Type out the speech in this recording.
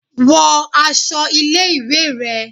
Wọ aṣọ ilé ìwé rẹ